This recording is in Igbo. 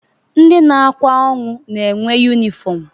Ndị na-akwa ọnwụ na-enwe yunịfọm.